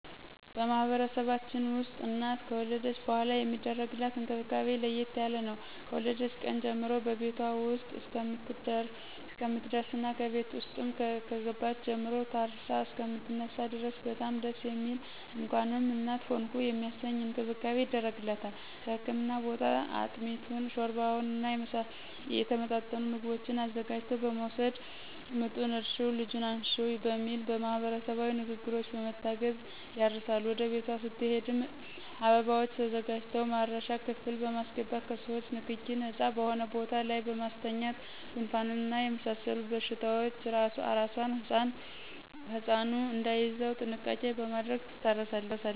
በማህበረሰባችን ውስጥ እናት ከወለደች በኃላ የሚደረግላት እንክብካቤ ለየት ያለ ነው። ከወለደች ቀን ጀምሮ በቤቷ ውስጥ እስከምትደርስና ከቤት ውስጥም ከገባች ጀምሮ ታርሳ እሰከምትነሳ ድረስ በጣም ደስ የሚል እንኳንም እናት ሆንሁ የሚያሰኝ እንክብካቤ ይደረግላታል ከህክምና ቦታ አጥሚቱን: ሾርባውና የተመጣጠኑ ምግቦችን አዘጋጅቶ በመወሰድ ምጡን እርሽው ልጁን አንሽው በሚል ማህበረሰባዊ ንግግሮች በመታገዝ ያርሳሉ ወደ ቤቷ ስትሄድም አበባዎች ተዘጋጅተው ማረሻ ክፍል በማሰገባት ከሰዎቾ ንክኪ ነጻ በሆነ ቦታ ላይ በማስተኛት ጉንፋንና የመሳሰሉት በሽታዎች አራሷና ህጻኑ እዳይያዙ ጥንቃቄ በማድረግ ትታረሳለች